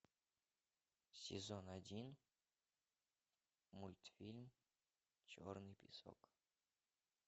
сезон один мультфильм черный песок